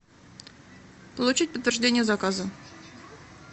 получить подтверждение заказа